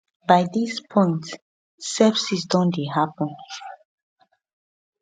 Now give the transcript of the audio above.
by dis point sepsis don dey happun